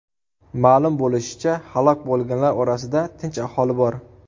Ma’lum bo‘lishicha, halok bo‘lganlar orasida tinch aholi bor.